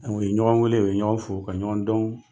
ye ɲɔgɔn wele u ye ɲɔgɔn fo ka ɲɔgɔn dɔn.